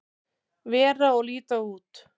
vera og líta út.